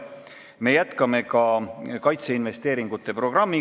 Me jätkame ka kaitseinvesteeringute programmi.